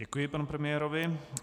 Děkuji panu premiérovi.